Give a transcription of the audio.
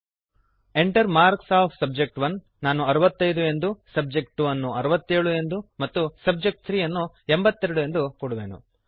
Enter marks of subject one ನಾನು 65 ಎಂದು subject two ಅನ್ನು 67 ಎಂದು ಮತ್ತು ಸಬ್ಜೆಕ್ಟ್3 ಅನ್ನು 82 ಎಂದು ಕೊಡುವೆನು